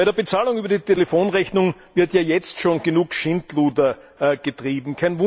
Bei der Bezahlung über die Telefonrechnung wird ja jetzt schon genug Schindluder getrieben.